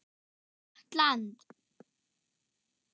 Gott land.